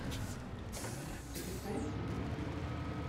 запускай страна фей